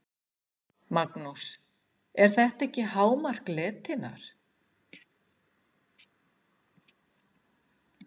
Magnús: Er þetta ekki hámark letinnar?